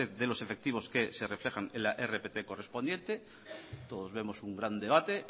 de los efectivos que se reflejan en la rpt correspondiente todos vemos un gran debate